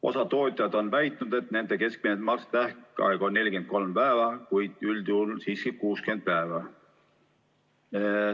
Osa tootjaid on väitnud, et nende keskmine maksetähtaeg on 43 päeva, kuid üldjuhul siiski 60 päeva.